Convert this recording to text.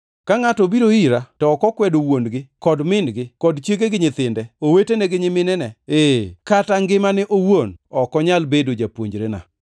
“Ka ngʼato obiro ira, to ok okwedo wuon-gi kod min-gi kod chiege gi nyithinde, owetene gi nyiminene ee, kata ngimane owuon ok onyal bedo japuonjrena.